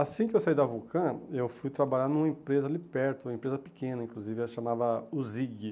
Assim que eu saí da Vulcã, eu fui trabalhar numa empresa ali perto, uma empresa pequena, inclusive, a chamava UZIG.